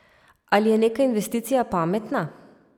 Ali je neka investicija pametna?